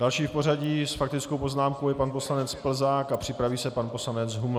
Další v pořadí s faktickou poznámkou je pan poslanec Plzák a připraví se pan poslanec Huml.